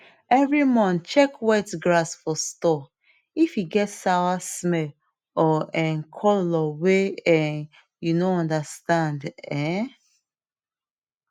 every month check wet grass for store if e get sour smell or um colour way um you no understand um